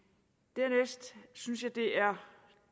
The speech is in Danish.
dernæst synes jeg det er